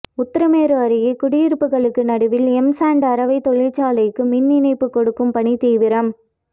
உத்திரமேரூர் அருகே குடியிருப்புகளுக்கு நடுவில் எம் சாண்டு அரவை தொழிற்சாலைக்கு மின் இணைப்பு கொடுக்கும் பணி தீவிரம்